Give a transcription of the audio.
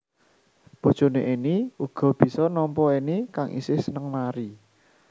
Bojoné Enny uga bisa nampa Enny kang isih seneng nari